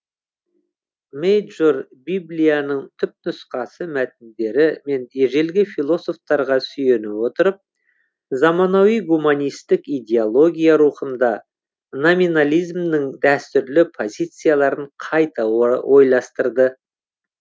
мейджор библияның түпнұсқа мәтіндері мен ежелгі философтарға сүйене отырып заманауи гуманистік идеология рухында номинализмнің дәстүрлі позицияларын қайта ойластырды